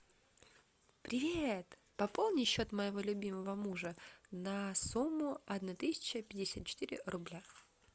привет пополни счет моего любимого мужа на сумму одна тысяча пятьдесят четыре рубля